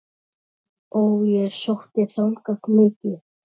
Og ég sótti þangað mikið.